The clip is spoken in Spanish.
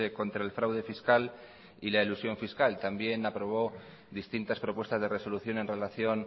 contra el fraude fiscal y la elusión fiscal también aprobó distintas propuestas de resolución en relación